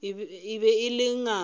e be e le ngaka